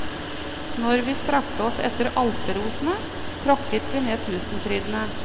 Når vi strakte oss etter alperosene, tråkket vi ned tusenfrydene.